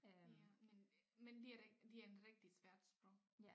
Ja men men det er da ikke det ændrer da ikke det et svært sprog